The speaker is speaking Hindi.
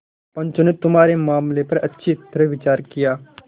पंचों ने तुम्हारे मामले पर अच्छी तरह विचार किया